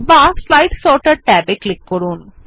বা slide sorter ট্যাবে click করুন